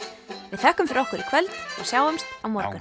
við þökkum fyrir okkur í kvöld og sjáumst á morgun